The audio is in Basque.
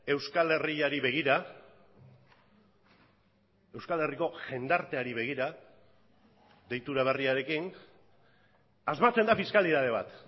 euskal herriari begira euskal herriko jendarteari begira deitura berriarekin asmatzen da fiskalitate bat